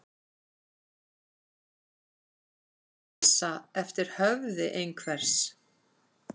Að dansa eftir höfði einhvers